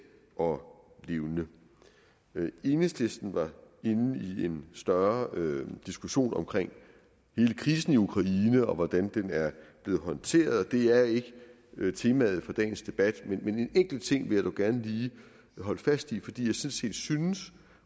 og levende enhedslisten var inde i en større diskussion omkring hele krisen i ukraine og hvordan den er blevet håndteret det er ikke temaet for dagens debat men en enkelt ting vil gerne lige holde fast i fordi jeg sådan set synes